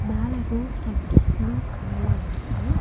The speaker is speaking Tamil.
மேல ரூஃப் வந்து ப்ளூ கலர்ல இருக்கு.